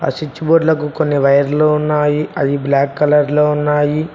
Switch board లకు కొన్ని వైర్లు ఉన్నాయి అవి బ్లాక్ కలర్ లో ఉన్నాయి.